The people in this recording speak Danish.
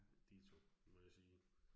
Ditto må jeg sige